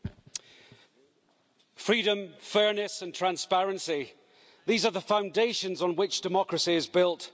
Mr President, freedom, fairness and transparency these are the foundations on which democracy is built.